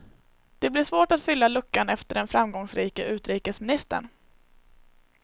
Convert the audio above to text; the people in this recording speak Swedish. Det blir svårt att fylla luckan efter den framgångsrike utrikesministern.